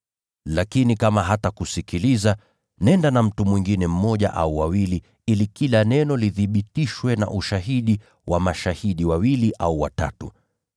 Lakini kama hatakusikiliza, nenda na mtu mwingine mmoja au wawili ili kila neno lithibitishwe kwa ushahidi wa mashahidi wawili au watatu.